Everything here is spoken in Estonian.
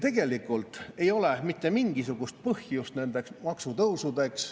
Tegelikult ei ole mitte mingisugust põhjust nendeks maksutõusudeks.